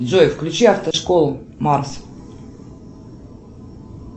джой включи автошколу марс